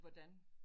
Hvordan